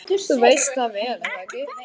Þú veist það vel.